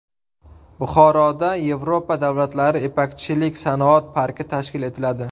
Buxoroda Yevropa davlatlari ipakchilik sanoat parki tashkil etiladi.